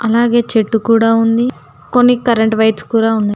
అలాగే చెట్టు కూడా ఉంది కొన్ని కరెంట్ వైర్స్ కూడా ఉన్నాయి.